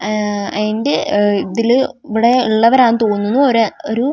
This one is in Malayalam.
ആ അയിന്റെ ഉഹ് ഇതില് ഇവിടെ ഉള്ളവരാ തോന്നു ഒര് ഒരു ആറുപേര് --